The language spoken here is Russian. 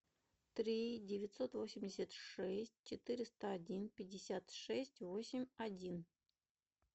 три девятьсот восемьдесят шесть четыреста один пятьдесят шесть восемь один